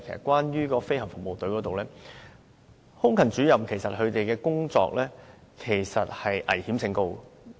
關於政府飛行服務隊方面，空勤主任的工作危險性其實很高。